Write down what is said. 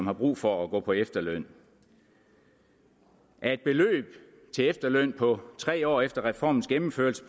har brug for at gå på efterløn af et beløb til efterløn på tre år efter reformens gennemførelse